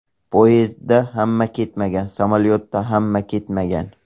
Poyezdda ham ketmagan, samolyotda ham ketmagan.